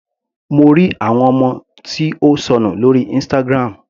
Mo ri àwòrán ọmọ tí ó sọnù lórí Instagram.